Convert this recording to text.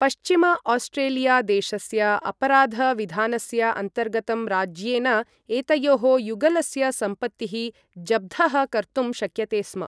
पश्चिम ऑस्ट्रेलिया देशस्य अपराध विधानस्य अन्तर्गतं राज्येन एतयोः युगलस्य सम्पत्तिः जब्धः कर्तुं शक्यते स्म ।